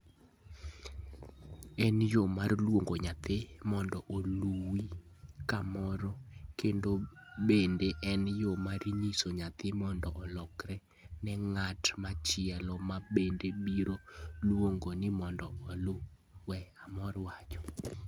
En yo mar luongo nyathi mondo oluwi kamoro, kendo bende en yo mar nyiso nyathi mondo olokre ne ng'at machielo, ma bende biro luonge ni mondo oluwe, Armor wacho.